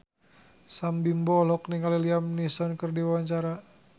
Sam Bimbo olohok ningali Liam Neeson keur diwawancara